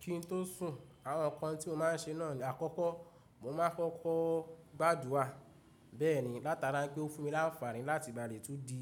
Kí n tó sùn, àwọn nǹkan tí mo má n ṣe náà ni àkọ́kọ́ mo máa n kọ gbádùrà beeni látara pé ó fún mi láǹfààní láti ìgbàrè tó di